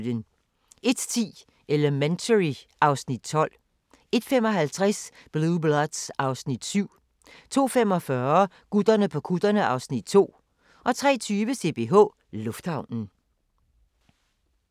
01:10: Elementary (Afs. 12) 01:55: Blue Bloods (Afs. 7) 02:45: Gutterne på kutterne (Afs. 2) 03:20: CPH Lufthavnen